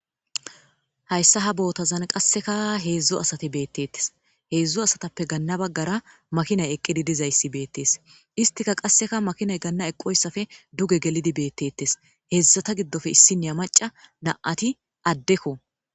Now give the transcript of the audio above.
Hayssa ha boothazan qassika heedzdzu asathi beeththeththes; heedzdzu asathappe ganna baggara makinay eqqidi dizayssi beeththes;isthika qasseka makinay ganna eqqoysafe duge gelidi beeththeeththes;heezzatha giddope issiniya macca na7athi addekko.